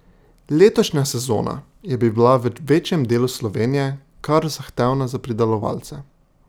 Letošnja sezona je bila v večjem delu Slovenije kar zahtevna za pridelovalce.